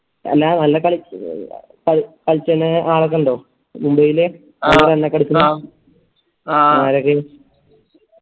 അല്ലാ നല്ല കളി കളിച്ചണെ ആളൊക്കെണ്ടോ മുംബൈല് ആരൊക്കെ